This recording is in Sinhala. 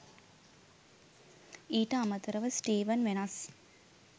ඊට අමතරව ස්ටීවන් වෙනස්